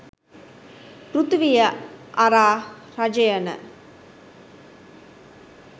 පෘථිවිය අරා රජයන